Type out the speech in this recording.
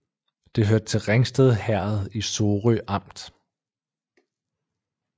Det hørte til Ringsted Herred i Sorø Amt